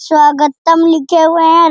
स्वागतम लिखे हुए है।